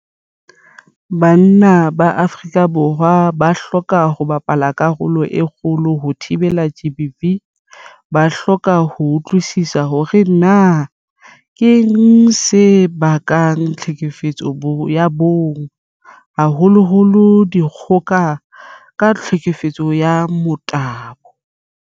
Banna ba Afrika Borwa ba hloka ho bapala karolo e kgolo ho thibeleng GBV. Ba hloka ho utlwisisa hore na keng se bakang tlhekefetso ya bong, haholoholo dikgoka ka tlhekefetso ya motabo.